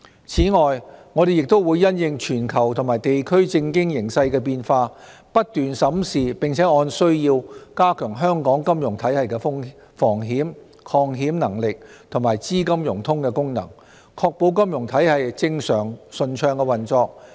此外，我們也會因應全球和地區政經形勢的變化，不斷審視並按需要加強香港金融體系的防險、抗險能力和資金融通功能，確保金融體系正常順暢運作。